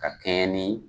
Ka kɛɲɛ ni